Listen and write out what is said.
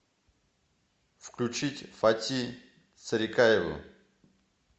включить фати царикаеву